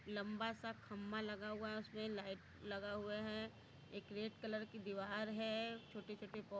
लम्बा सा खम्भा लगा हुआ है उसमें लाइट लगा हुआ है एक रेड कलर की दीवार है छोटे छोटे पो--